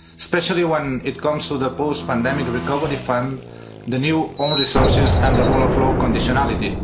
Especially when it comes to the post pandemic Recovery Fund, the new own resources and the rule of law conditionality.